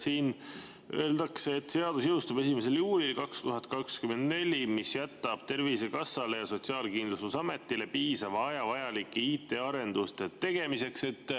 Siin öeldakse, et seadus jõustub 1. juulil 2024, mis jätab Tervisekassale ja Sotsiaalkindlustusametile piisava aja vajalike IT‑arenduste tegemiseks.